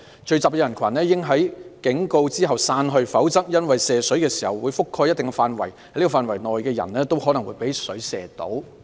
聚集的人群應在警告後散去，否則因射水時會覆蓋一定的範圍，在這範圍內的人都很可能被水射到。